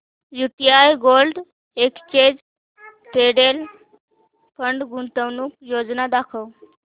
UTI gold exchange traded fund गुंतवणूक योजना दाखव